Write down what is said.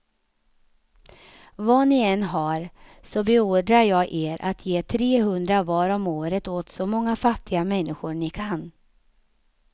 Vad ni än har, så beordrar jag er att ge trehundra var om året åt så många fattiga människor ni kan.